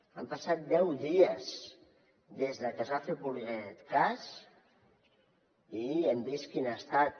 han passat deu dies des de que es va fer públic aquest cas i ja hem vist quin ha estat